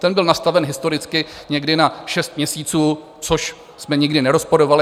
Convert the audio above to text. Ten byl nastaven historicky někdy na šest měsíců, což jsme nikdy nerozporovali.